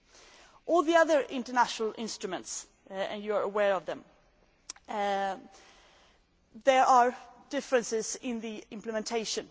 Regarding all the other international instruments and you are aware of them there are differences in implementation.